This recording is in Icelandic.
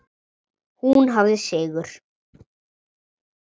Hún hafði sigur.